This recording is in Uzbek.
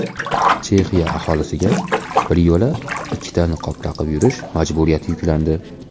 Chexiya aholisiga biryo‘la ikkita niqob taqib yurish majburiyati yuklandi.